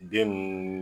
Den ninnu